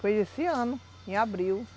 Fiz esse ano, em abril.